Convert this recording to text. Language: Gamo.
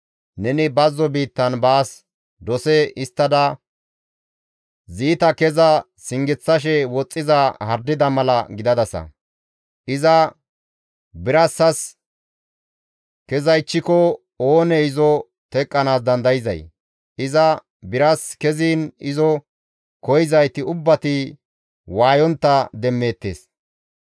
Neni bazzo biittan baas dose histtada ziita keza singeththashe woxxiza hardida mala gidadasa; Iza birassas kezaychchiko oonee izo teqqanaas dandayzay? Iza biras keziin izo koyzayti ubbati waayontta demmeettes.